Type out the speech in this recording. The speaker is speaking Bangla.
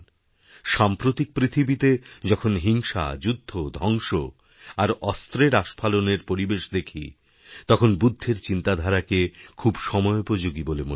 সাম্প্রতিক পৃথিবীতে যখনহিংসা যুদ্ধ ধ্বংস আর অস্ত্রের আস্ফালনের পরিবেশ দেখি তখন বুদ্ধের চিন্তাধারাকেখুব সময়োপযোগী বলে মনে হয়